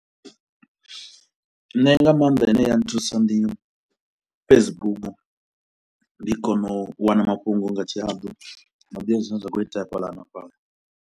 Nṋe nga maanḓa ine ya nthusa ndi Facebook, ndi kona u wana mafhungo nga tshihaḓu nda ḓivha zwine zwa khou itea fhaḽa na fhaḽa.